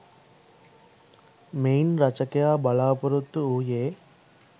මෙයින් රචකයා බලාපොරොත්තු වූයේ